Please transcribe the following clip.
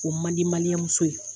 O man di maliyɛnmuso ye